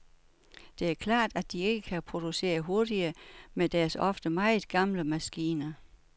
Det er klart, at de ikke kan producere hurtigere med deres ofte meget gamle maskiner.